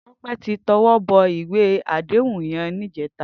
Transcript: Tope ti tèwòbò iwé àdéhún yèn nijètá